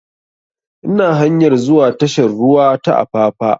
Ina hanyar zuwa tashar ruwa ta apapa